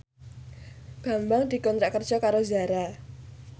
Bambang dikontrak kerja karo Zara